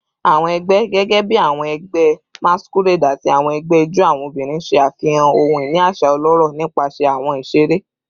Awọn ẹgbẹ, gẹgẹbi awọn ẹgbẹ masquerade ati awọn ẹgbẹ ijó awọn obinrin, ṣe afihan ohun-ini aṣa ọlọrọ nipasẹ awọn iṣere